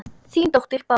Þín dóttir Bára.